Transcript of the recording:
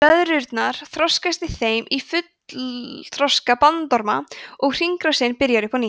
blöðrurnar þroskast í þeim í fullþroska bandorma og hringrásin byrjar upp á nýtt